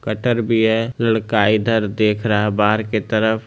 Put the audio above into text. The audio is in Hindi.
कटर भी है लड़का इधर देख रहा बाहर की तरफ।